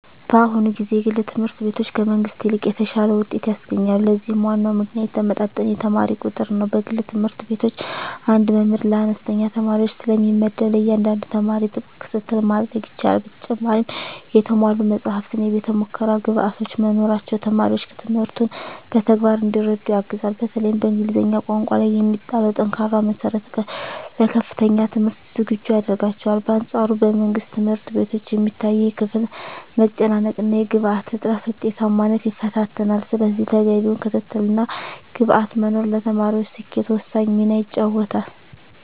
በአሁኑ ጊዜ የግል ትምህርት ቤቶች ከመንግሥት ይልቅ የተሻለ ውጤት ያስገኛሉ። ለዚህም ዋናው ምክንያት የተመጣጠነ የተማሪ ቁጥር ነው። በግል ትምህርት ቤቶች አንድ መምህር ለአነስተኛ ተማሪዎች ስለሚመደብ፣ ለእያንዳንዱ ተማሪ ጥብቅ ክትትል ማድረግ ይቻላል። በተጨማሪም የተሟሉ መጻሕፍትና የቤተ-ሙከራ ግብዓቶች መኖራቸው ተማሪዎች ትምህርቱን በተግባር እንዲረዱ ያግዛል። በተለይም በእንግሊዝኛ ቋንቋ ላይ የሚጣለው ጠንካራ መሠረት ለከፍተኛ ትምህርት ዝግጁ ያደርጋቸዋል። በአንፃሩ በመንግሥት ትምህርት ቤቶች የሚታየው የክፍል መጨናነቅና የግብዓት እጥረት ውጤታማነትን ይፈታተናል። ስለዚህ ተገቢው ክትትልና ግብዓት መኖሩ ለተማሪዎች ስኬት ወሳኝ ሚና ይጫወታል።